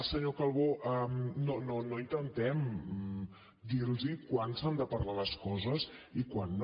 senyor calbó no intentem dir los quan s’han de parlar les coses i quan no